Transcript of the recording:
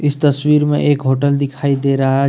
तस्वीर में एक होटल दिखाई दे रहा है।